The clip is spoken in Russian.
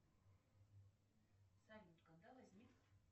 салют когда возник